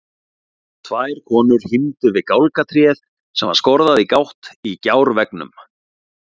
Tvær konur hímdu við gálgatréð sem var skorðað í gátt í gjárveggnum.